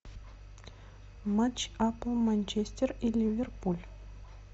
матч апл манчестер и ливерпуль